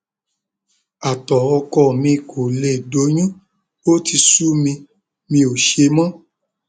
àtọ ọkọ mi kò lè doyún ó ti sú mi mi ò ṣe mọ